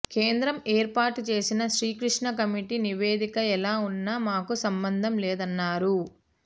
కేంద్రం ఏర్పాటు చేసిన శ్రీకృష్ణ కమిటీ నివేదిక ఎలా ఉన్నా మాకు సంబంధం లేదన్నారు